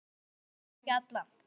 Kannski alla.